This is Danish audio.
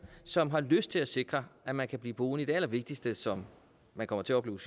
som har lyst til at sikre at man kan blive boende i det allervigtigste som man kommer til at opleve